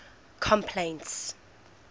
complaints